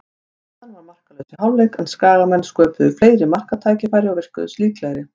Staðan var markalaus í hálfleik, en Skagamenn sköpuðu fleiri marktækifæri og virtust líklegri.